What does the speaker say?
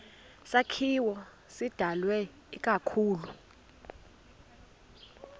sakhiwo sidalwe ikakhulu